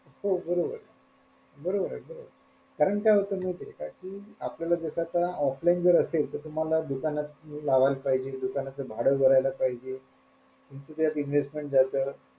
हो बरोबर बरोबरे बरोबरे कारण काय होत माहितेय का कि आपल्याला जस आता offline असेल तर तुम्हाला दुकानात लावायला पाहिजे दुकानाचं भाडं भरायला पाहिजे आणखी त्यात investment जात,